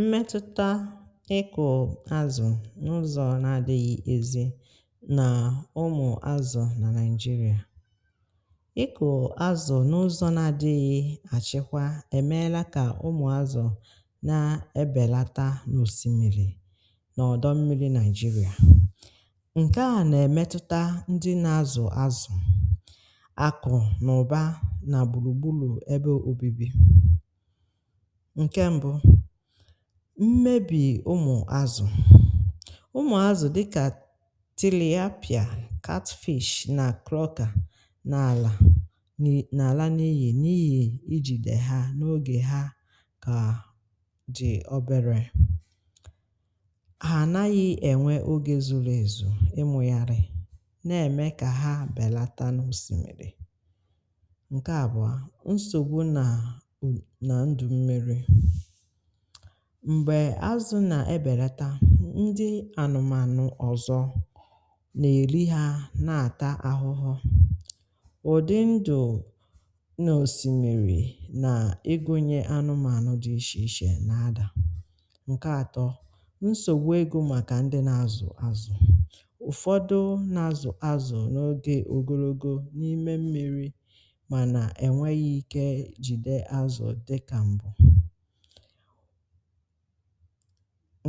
mmetụta ịkụ̀ azụ̀ n’ụzọ̀ na-adịghị̀ ezi na ụmụ azụ̀ na naịjirịa. ịkụ̀ azụ̀ n’ụzọ̀ na-adịghị̀ achịkwa emelata ka ụmụ azụ̀ na-ebelata n’osimiri na ọdọ mmiri naịjirịa. ǹkè a na-emetụta ndị na-azụ̀ azụ̀, akụ na ụba na gbulu gbulu ebe obibi ǹke mbụ mmebì ụmụ azụ̀ ụmụ azụ̀ dịkà tiliapia catfish na klọka na àlà n’ala n’iyi n’iyi ijìde ha n’ogè ha kà dị obere ha naghị̇ ènwe ogè zụrụ ezù ịmụ̀gharị̀ na-ème kà ha bèlata n’osìmìrì ǹke àbụa nsogbu na ndụ mmiri m̀gbè azụ̀ nà-ebèlata ndị ànụ̀mànụ̀ ọ̀zọ̀ nà-èriha na-àta ahụhọ̀ ụ̀dị ndụ̀ nà òsìmìrì nà ịgụnyè anụ̀mànụ̀ dị ishì ishè nà adà ǹkè atọ̀ nsògbu egȯ màkà ndị nà-azụ̀ azụ̀ ụ̀fọ̀dụ nà-azụ̀ azụ̀ n’ogè ogologo n’ime mmi̇ri̇ mana e nweghị ike jide azụ dị ka mbụ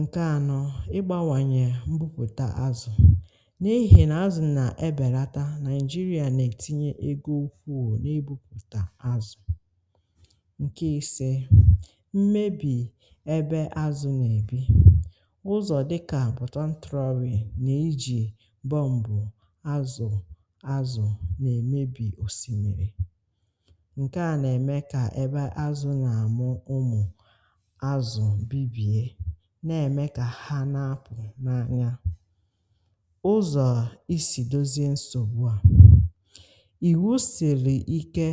ǹkè anọ̀, ịgbànwànyè mbupụta azụ̀ n’ihì nà azụ̀ nà-ebèlata nàịjirịa nà-ètinye egȯ ukwuù n’ibùpụta azụ̀. ǹkè isė mmebì ebe azụ̀ nà-èbi, ụzọ̀ dịkà buton trowe nà-ejì bọ̀m̀bụ̀ azụ̀ azụ̀ nà-èmebì òsimiri nke a na-eme ka ebe azụ na-amụ ụmụ azụ̀ bibie na-eme ka ha na-apụ̀ n’anya ụzọ̀ isì dozie nsogbu à iwu sili ike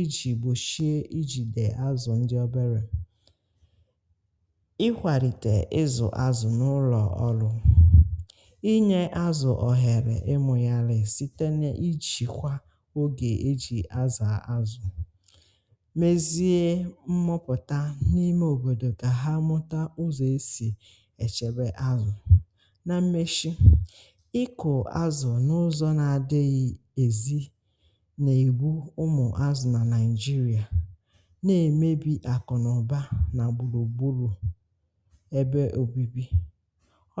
iji̇ gbochie ijìde azụ̀ ndị obere ịkwalite ịzụ̀ azụ̀ n’ụlọ̀ ọlụ̀ ịnye azụ̀ ọhere ịmụnyalị site n’ijìkwa ogè eji̇ azụ̀ azụ̀ mezie mmụpụta n’ime obodo ka ha mmụta mụta ụzọ̀ esì èchebe azụ̀ na mmeshi ịkụ̀ azụ̀ n’ụzọ̀ na adịghị èzi n’ègbu ụmụ̀ azụ̀ nà naịjirịà na-èmebì àkụ̀nàụ̀ba nà gbulù gbulu ebe obibi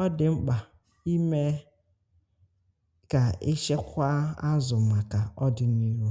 ọ dị̀ mkpà imė kà ịchịkwa azụ̀ màkà ọ dị̀ n’ihu